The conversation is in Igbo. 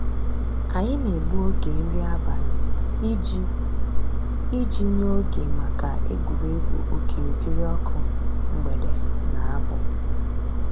Ànyị̀ nà-ègbù ògè nrí àbàlị̀ íjì íjì nyè ògè mǎká ègwè́régwụ̀ òkìrìkìrì ǒkụ̀ mgbèdè nà àbụ̀.